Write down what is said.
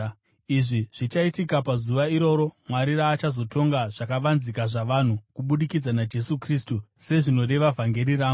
Izvi zvichaitika pazuva iroro, Mwari raachazotonga zvakavanzika zvavanhu kubudikidza naJesu Kristu, sezvinoreva vhangeri rangu.